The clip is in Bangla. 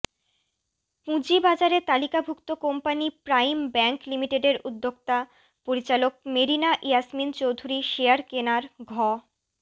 পুঁজিবাজারে তালিকাভুক্ত কোম্পানি প্রাইম ব্যাংক লিমিটেডের উদ্যোক্তা পরিচালক মেরিনা ইয়াসমিন চৌধুরী শেয়ার কেনার ঘ